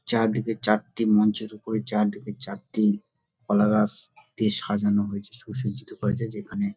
চার দিকে চারটি মঞ্চের উপরে চার দিকে চারটি কলা গাছ দিয়ে সাজানো হয়েছে সুসজিত করা হয়েছে যেখানে --